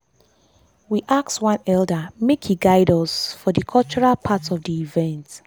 we ask one elder make e guide us for dey cultural part of dey event.